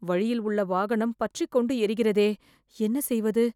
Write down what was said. வழியில் உள்ள வாகனம் பற்றி கொண்டு ஏறிகிறதே, என்ன செய்வது